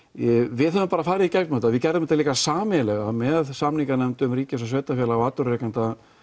við höfum bara farið í gegnum þetta við gerðum þetta líka sameiginlega með samninganefndum ríkis og sveitarfélaga og atvinnurekenda